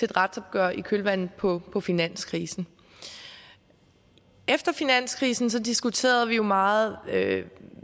retsopgøret i kølvandet på på finanskrisen efter finanskrisen diskuterede vi jo meget